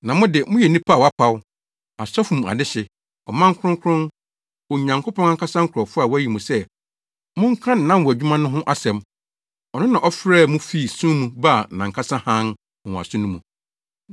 Na mo de, moyɛ nnipa a wɔapaw, asɔfodi mu adehye, ɔman kronkron, Onyankopɔn ankasa nkurɔfo a wɔayi mo sɛ monka nʼanwonwadwuma no ho asɛm. Ɔno na ɔfrɛɛ mo fii sum mu baa nʼankasa hann nwonwaso no mu.